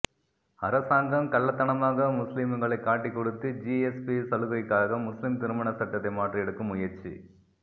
அரசாங்கம் கள்ளத்தனமாக முஸ்லிம்களை காட்டிக்கொடுத்து ஜி எஸ் பி சலுகைக்காக முஸ்லிம் திருமண சட்டத்தை மாற்ற எடுக்கும் முயற்சி